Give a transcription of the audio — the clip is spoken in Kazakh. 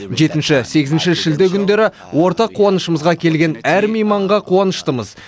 жетінші сегізінші шілде күндері ортақ қуанышымызға келген әр мейманға қуаныштымыз